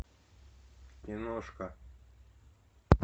киношка